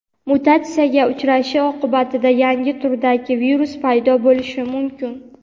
mutatsiyaga uchrashi oqibatida yangi turdagi virus paydo bo‘lishi mumkin.